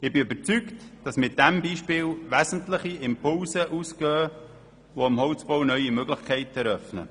Ich bin überzeugt, dass von diesem Beispiel wesentliche Impulse ausgehen, die dem Holzbau neue Möglichkeiten eröffnen.